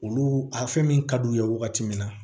Olu a fɛn min ka d'u ye wagati min na